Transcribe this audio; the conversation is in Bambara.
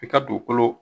I ka dugukolo